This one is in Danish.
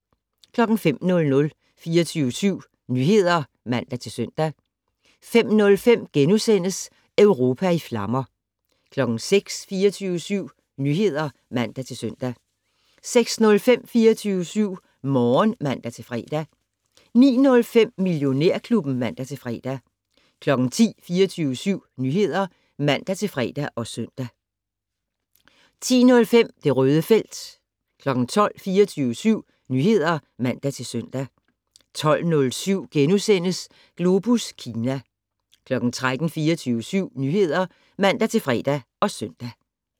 05:00: 24syv Nyheder (man-søn) 05:05: Europa i flammer * 06:00: 24syv Nyheder (man-søn) 06:05: 24syv Morgen (man-fre) 09:05: Millionærklubben (man-fre) 10:00: 24syv Nyheder (man-fre og søn) 10:05: Det Røde felt 12:00: 24syv Nyheder (man-søn) 12:07: Globus Kina * 13:00: 24syv Nyheder (man-fre og søn)